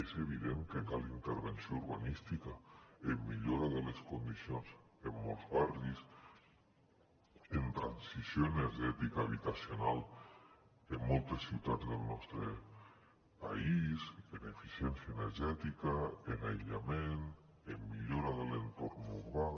és evident que cal intervenció urbanística en millora de les condicions en molts barris en transició energètica habitacional en moltes ciutats del nostre país en eficiència energètica en aïllament en millora de l’entorn urbà